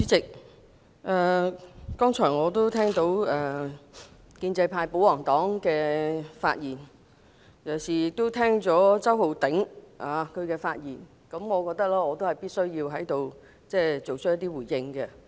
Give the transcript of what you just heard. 主席，剛才聽了建制派保皇黨議員的發言，尤其是周浩鼎議員的發言，我覺得必須在這裏作一些回應。